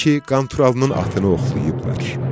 Gördü ki, Qanturalının atını oxlayıblar.